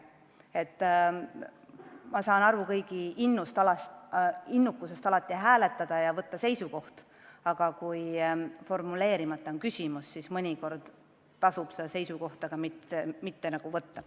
Ma saan aru kõigi innukusest alati hääletada ja võtta seisukoht, aga kui küsimus on korralikult formuleerimata, siis mõnikord tasub seisukohta mitte võtta.